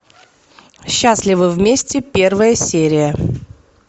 счастливы вместе первая серия